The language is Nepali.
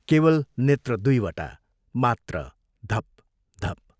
केवल नेत्र दुइवटा मात्र धपधप